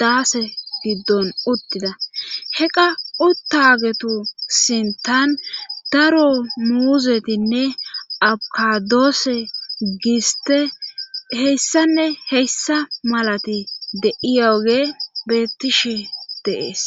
daase giddon uttida heqa uttagetu sintan daro muuzetinne akadoose giste heyssanne heyssa malati de7iyaoge bettishe deees